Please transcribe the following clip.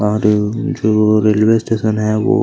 और जो जो रेलवे स्टेशन है वो--